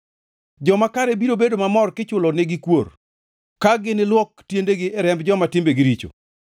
Joma kare biro bedo mamor kichulonigi kuor, ka giniluok tiendegi e remb joma timbegi richo.